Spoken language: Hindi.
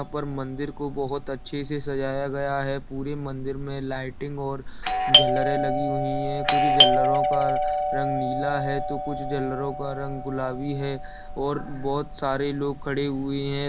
यहां पर मंदिर को बहुत अच्छे से सजाया गया है पूरी मंदिर में लाइटिंग और झलरे लगी हुई है कुछ झलरो का रंग नीला है तो कुछ झलरों का रंग गुलाबी है और बहुत सारे लोग खड़े हुए है।